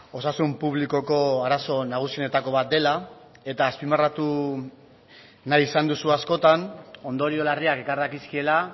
osasun publikoko arazo nagusienetako bat dela eta azpimarratu nahi izan duzu askotan ondorio larriak ekar dakizkiela